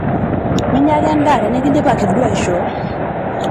Minyia ake endaa tinikindipaki duo aishoo.